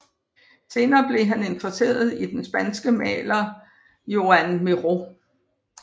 Senere blev han interesseret i den spanske maler Joan Miró